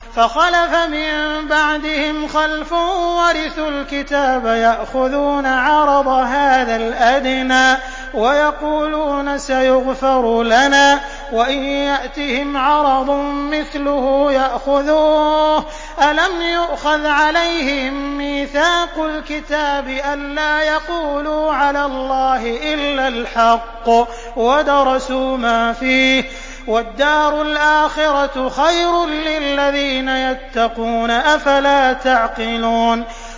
فَخَلَفَ مِن بَعْدِهِمْ خَلْفٌ وَرِثُوا الْكِتَابَ يَأْخُذُونَ عَرَضَ هَٰذَا الْأَدْنَىٰ وَيَقُولُونَ سَيُغْفَرُ لَنَا وَإِن يَأْتِهِمْ عَرَضٌ مِّثْلُهُ يَأْخُذُوهُ ۚ أَلَمْ يُؤْخَذْ عَلَيْهِم مِّيثَاقُ الْكِتَابِ أَن لَّا يَقُولُوا عَلَى اللَّهِ إِلَّا الْحَقَّ وَدَرَسُوا مَا فِيهِ ۗ وَالدَّارُ الْآخِرَةُ خَيْرٌ لِّلَّذِينَ يَتَّقُونَ ۗ أَفَلَا تَعْقِلُونَ